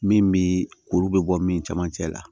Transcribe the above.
Min bi kuru bɛ bɔ min camancɛ la